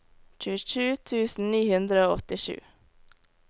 tjuesju tusen ni hundre og åttisju